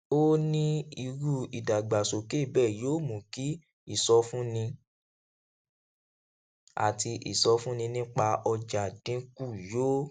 ó ní irú ìdàgbàsókè bẹẹ yóò mú kí ìsọfúnni àti ìsọfúnni nípa ọjà dín kù yóò